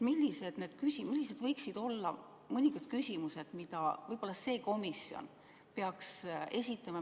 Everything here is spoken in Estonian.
Millised võiksid olla mõningad küsimused, mida see komisjon peaks esitama?